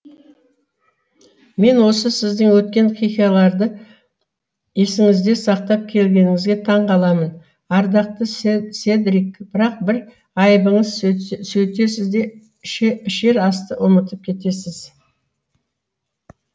мен осы сіздің өткен хикаяларды есіңізде сақтап келгеніңізге таң қаламын ардақты седрик бірақ бір айыбыңыз сөйтесіз де ішер асты ұмытып кетесіз